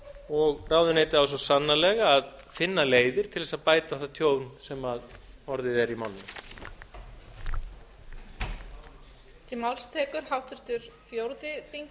og ráðuneytið á svo sannarlega að kynna leiðir til þess að bæta það tjón sem orðið er í málinu